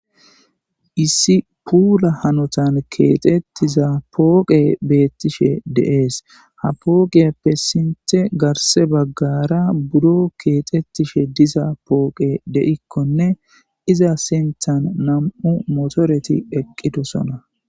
issi puula hanotan keexettiza pooqe beettishe de'ees ha pooqeyappe sinte garse baggara budo keexettishe diza pooqe de7ikkonne iza senthan nam7u motoreti eqqidosona